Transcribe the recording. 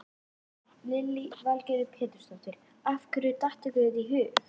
Lillý Valgerður Pétursdóttir: Af hverju datt ykkur þetta í hug?